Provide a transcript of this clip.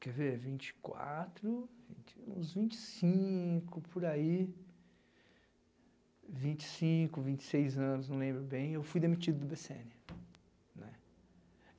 quer ver, vinte quatro, vinte uns vinte e cinco por aí, vinte e cinco, vinte e seis anos, não lembro bem, eu fui demitido do bê cê ene, né.